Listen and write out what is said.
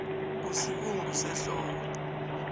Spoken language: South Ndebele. usibungusehloko